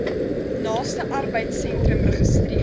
naaste arbeidsentrum registreer